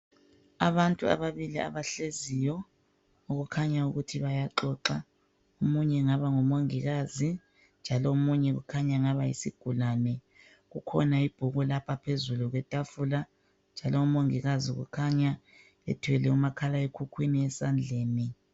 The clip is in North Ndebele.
Abantu ababili abahleziyo okukhanya ukuthi bayaxoxa omunye engaba ngumongikazi njalo omunye ukhanya engaba yisigulane . Kukhona ibhuku lapha phezulu kwethafula njalo umongikazi kukhanya ethwele umakhalekhukhwini esandleni.